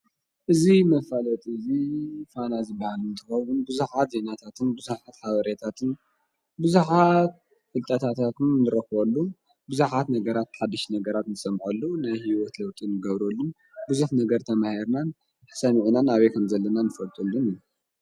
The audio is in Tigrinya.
እዝ መፋለት እዙይ ፋና ዝበሃልንተወውን ብዙኃት ዜናታትን ብዙኃት ሓበሬታትን ብዙኃት ፍልጣታታትን ረኽወሉ ብዙኃት ነገራት ሓድሽ ነገራት ንሰምዖሉ ናይሕይወት ለውቲን ገብረሉን ብዘፍ ነገር ተማሃርናን ሕሰሚዑናን ናቤከንዘለና ንፈልጡሉን እዩ።